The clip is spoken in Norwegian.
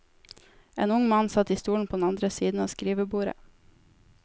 En ung mann satt i stolen på den andre siden av skrivebordet.